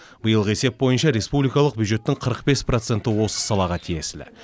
биылғы есеп бойынша республикалық бюджеттің қырық бес проценті осы салаға тиесілі